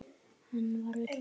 Hann var öllum mjög góður.